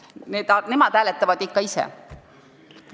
Nemad hääletavad ikka ise.